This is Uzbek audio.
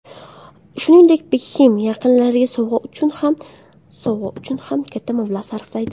Shuningdek, Bekhem yaqinlariga sovg‘a uchun ham katta mablag‘ sarflaydi.